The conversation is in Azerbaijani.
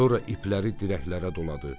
Sonra ipləri dirəklərə doladı.